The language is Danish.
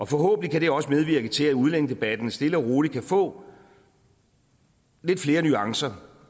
forhåbentlig også medvirke til at udlændingedebatten stille og roligt kan få lidt flere nuancer